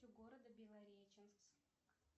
города белореченск